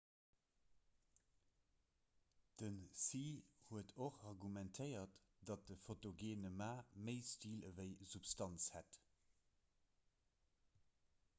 den hsieh huet och argumentéiert datt de fotogeene ma méi stil ewéi substanz hätt